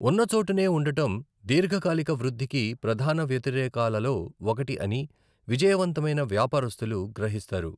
ఉన్నచోటనే ఉండటం దీర్ఘకాలిక వృద్ధికి ప్రధాన వ్యతిరేకాలలో ఒకటి అని విజయవంతమైన వ్యాపారస్థులు గ్రహిస్తారు.